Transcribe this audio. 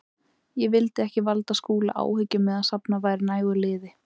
Ég vildi ekki valda Skúla áhyggjum meðan safnað væri nægu liði.